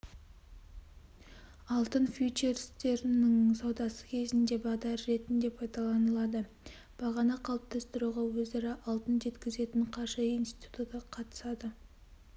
алтын фьючерстерінің саудасы кезінде бағдар ретінде пайдаланылады бағаны қалыптастыруға өзара алтын жеткізетін қаржы институты қатысады